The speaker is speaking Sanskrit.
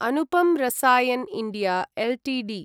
Anupam Rasayan India Ltd